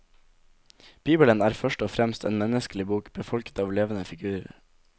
Bibelen er først og fremst en menneskelig bok, befolket av levende figurer.